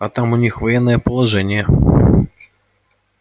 а там у них военное положение